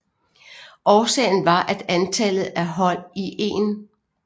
Årsagen var at antallet af hold i 1